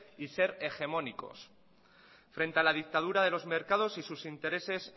y ser hegemónicos frente a la dictadura de los mercados y sus intereses